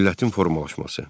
Millətin formalaşması.